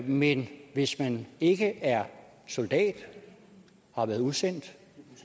men hvis man ikke er soldat og har været udsendt